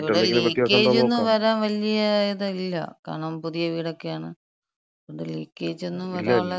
ഇവിടെ ലീക്കേജൊന്നും വരാൻ വല്യ ഇതില്ല. കാരണം പുതിയ വീടൊക്കെയാണ്. അതോണ്ട് ലീക്കേജൊന്നും വരാൻള്ള സാധ്യതയില്ല.